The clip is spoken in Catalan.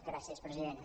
gràcies president